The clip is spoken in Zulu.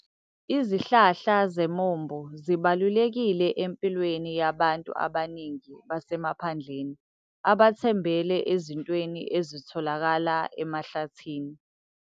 Izihlahla zemiombo zibalulekile empilweni yabantu abaningi basemaphandleni abathembele ezintweni ezitholakala emahlathini.